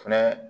Fɛnɛ